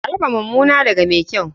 A raba mumuna daga mai kyau.